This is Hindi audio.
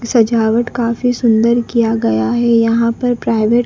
सजावट काफी सुंदर किया गया है यहां पर प्राइवेट --